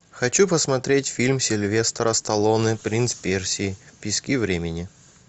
хочу посмотреть фильм сильвестра сталлоне принц персии пески времени